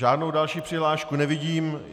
Žádnou další přihlášku nevidím.